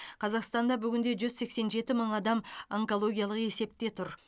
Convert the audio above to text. қазақстанда бүгінде жүз сексен жеті мың адам онкологиялық есепте тұр